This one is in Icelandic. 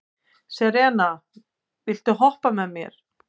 Serena, viltu hoppa með mér?